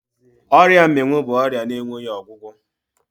Ọrịa mmịnwụ bụ ọrịa na-enweghi ọgwụgwọ